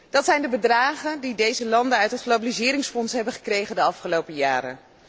Dat zijn de bedragen die deze landen uit het globaliseringsfonds hebben gekregen de afgelopen jaren.